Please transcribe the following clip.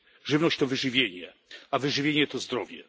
Żywność to wyżywienie, a wyżywienie to zdrowie.